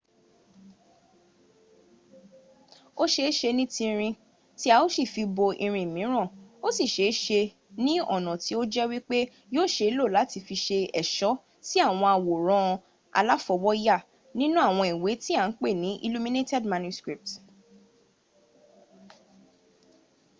o ṣeeṣe ni tinrin ti a o si fi bo irin miran o si ṣeeṣe ni ọna ti o jẹ wipe yio ṣe lo lati fi ṣe ẹṣo si awon aworan alafowoya ninu awọn iwe ti a n pe ni illuminated manuscript